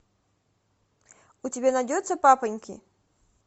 у тебя найдется папоньки